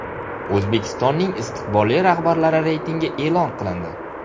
O‘zbekistonning istiqbolli rahbarlari reytingi e’lon qilindi.